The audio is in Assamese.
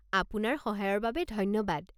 আপোনাৰ সহায়ৰ বাবে ধন্যবাদ।